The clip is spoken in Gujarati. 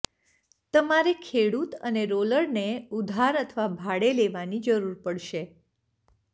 તમારે ખેડૂત અને રોલરને ઉધાર અથવા ભાડે લેવાની જરૂર પડશે